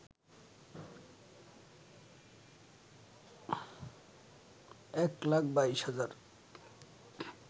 এক লাখ ২২ হাজার